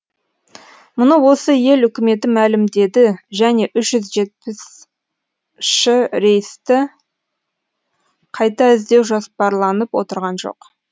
мұны осы ел үкіметі мәлімдеді және үш жүз жетпісші рейсті қайта іздеу жоспарланып отырған жоқ